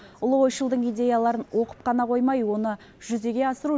ұлы ойшылдың идеяларын оқып қана қоймай оны жүзеге асыру